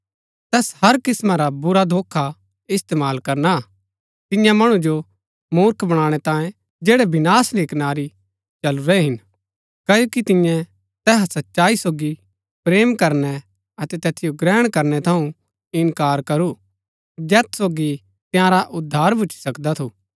तैस हर किस्‍मां रा बुरा धोखा इस्तेमाल करना हा तिन्या मणु जो मुर्ख बनाणै तांये जैड़ै विनाश री कनारी चलुरै हिन क्ओकि तिन्यै तैहा सच्चाई सोगी प्रेम करनै अतै तैतिओ ग्रहण करनै थऊँ इन्कार करू जैत सोगी तआंरा उद्धार भूच्ची सकदा थू